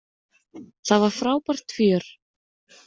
Það var frábært fjör.